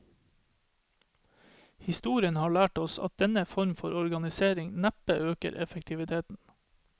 Historien har lært oss at denne form for organisering neppe øker effektiviteten.